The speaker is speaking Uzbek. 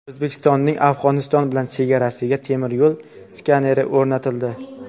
O‘zbekistonning Afg‘oniston bilan chegarasiga temir yo‘l skaneri o‘rnatildi.